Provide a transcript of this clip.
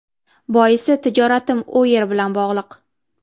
Boisi tijoratim u yer bilan bog‘liq.